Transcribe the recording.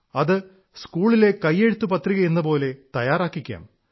അത് സ്കൂളിലെ കൈയെഴുത്തു പത്രികയെന്നപോലെ തയ്യാറാക്കിക്കാം